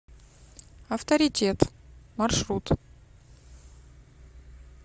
авторитет маршрут